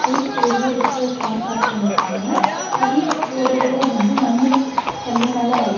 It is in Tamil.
வீட்டுக்கு வெளிய ரெட் கலர் கார் பார்க் பண்ணிருக்கங்காங்க இது வீட்டுக்கு போற ரோடு வந்து மண்ணு கல்லுனால ஆயிருக்கு.